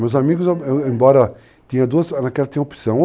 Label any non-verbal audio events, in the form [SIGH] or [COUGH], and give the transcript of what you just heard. Meus amigos, [HESITATION] embora... Tinha duas [UNINTELLIGIBLE] naquela [UNINTELLIGIBLE] opção.